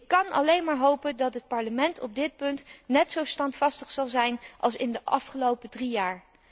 Ik kan alleen maar hopen dat het Parlement op dit punt net zo standvastig zal zijn als in de afgelopen drie jaar.